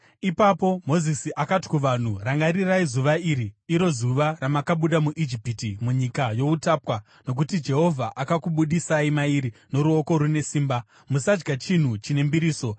Ipapo Mozisi akati kuvanhu, “Rangarirai zuva iri, iro zuva ramakabuda muIjipiti, munyika youtapwa, nokuti Jehovha akakubudisai mairi noruoko rune simba. Musadya chinhu chine mbiriso.